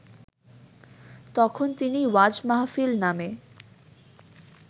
তখন তিনি ওয়াজ মাহফিল নামে